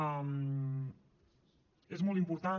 és molt important